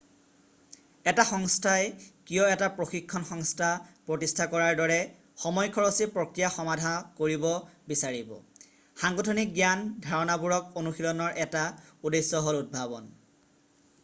এটা সংস্থাই কিয় এটা প্ৰশিক্ষণ সংস্থা প্ৰতিষ্ঠা কৰাৰ দৰে সময় খৰচী প্ৰক্ৰিয়া সমাধা কৰিব বিচাৰিব সাংগঠনিক জ্ঞান ধাৰণাবোৰক অনুশীলনৰ এটা উদ্দেশ্য হ'ল উদ্ভাৱন